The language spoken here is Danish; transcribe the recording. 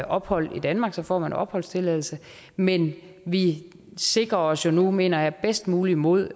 ophold i danmark så får man opholdstilladelse men vi sikrer os jo nu mener jeg også bedst muligt mod